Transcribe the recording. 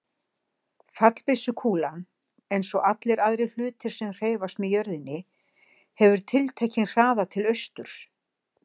Fallbyssukúlan, eins og allir aðrir hlutir sem hreyfast með jörðinni, hefur tiltekinn hraða til austurs.